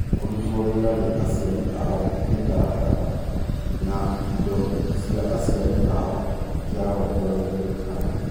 Kũrutwo wĩra nĩ aciari ao mĩtaratara, na indo cia aciari ao kĩarongoreirio harĩ.